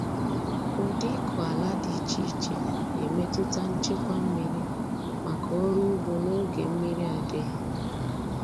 Ụdị ịkụ ala dị iche iche na-emetụta nchekwa mmiri maka ọrụ ugbo n’oge mmiri adịghị.